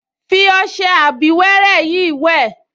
Fi ọṣẹ abíwẹ́rẹ́ yìí wẹ̀